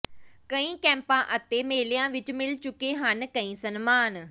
ਕਈ ਕੈਂਪਾਂ ਅਤੇ ਮੇਲਿਆਂ ਵਿੱਚ ਮਿਲ ਚੁੱਕੇ ਹਨ ਕਈ ਸਨਮਾਨ